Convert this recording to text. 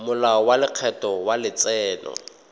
molao wa lekgetho wa letseno